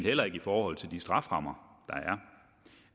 eller i forhold til de strafferammer der